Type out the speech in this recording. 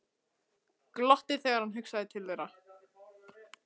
Glotti þegar hann hugsaði til þeirra.